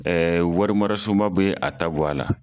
Ɛɛ warimarasunba be a ta bɔ a la